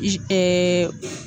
Eee eee